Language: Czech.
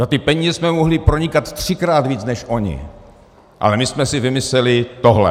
Za ty peníze jsme mohli pronikat třikrát víc než oni, ale my jsme si vymysleli tohle.